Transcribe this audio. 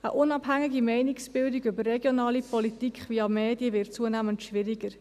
Eine unabhängige Meinungsbildung über regionale Politik via Medien wird zunehmend schwieriger.